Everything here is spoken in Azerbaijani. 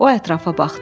O ətrafa baxdı.